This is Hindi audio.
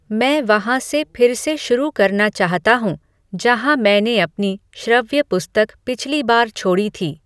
मैं वहाँ से फिर से शुरू करना चाहता हूँ जहाँ मैंने अपनी श्रव्य पुस्तक पिछली बार छोड़ी थी